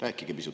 Aitäh!